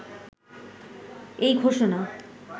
এই ঘোষণা